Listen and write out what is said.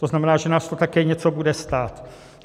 To znamená, že nás to také něco bude stát.